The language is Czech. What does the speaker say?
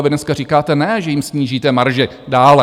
A vy dneska říkáte, ne že jim snížíte marži dále.